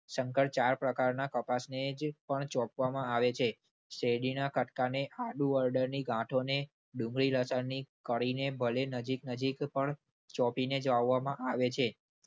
ચાર પ્રકારના કપાસને જ પણ ચોપવામાં આવે છે. શેરડીના કટકાને આદુ હળદળની ગાંઠોને ડુંગળી લસણની કળીને ભલે નજીક નજીક, પણ ચોંપીને જ વાવવામાં આવે છે.